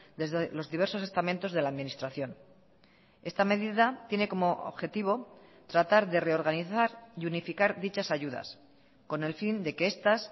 desde los diversos estamentos de la administración esta medida tiene como objetivo tratar de reorganizar y unificar dichas ayudas con el fin de que estas